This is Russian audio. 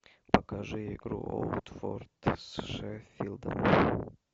покажи игру уотфорд с шеффилдом